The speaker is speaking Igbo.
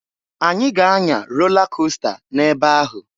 Anyị ga anya rola costa n'ebe ahụ.